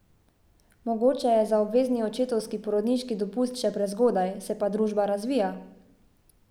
Mogoče je za obvezni očetovski porodniški dopust še prezgodaj, se pa družba razvija.